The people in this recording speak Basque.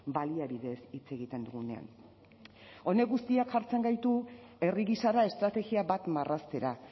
baliabideez hitz egiten dugunean honek guztiak jartzen gaitu herri gisara estrategia bat marraztera